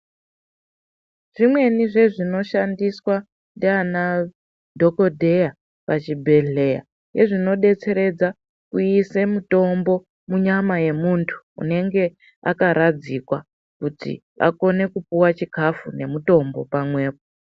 Zvimweni zvezvinoshandiswa ndiana dhokodheya pachibhedhleya ngezvinodetseredza kuise mutombo munyama yemuntu unenge akaradzikwa. Kuti akone kupuwa chikafu ngemutombo pamwepo.